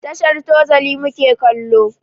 Tashar Tozali mu ke kallo.